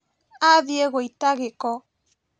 Athiĩ gũita gĩko